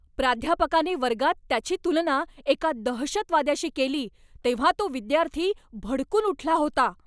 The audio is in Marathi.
प्राध्यापकाने वर्गात त्याची तुलना एका दहशतवाद्याशी केली तेव्हा तो विद्यार्थी भडकून उठला होता.